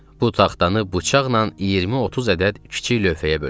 Bu taxtanı bıçaqla 20-30 ədəd kiçik lövhəyə böldü.